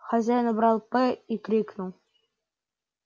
хозяин убрал п и крикнул